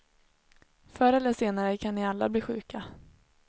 Förr eller senare kan ni alla bli sjuka.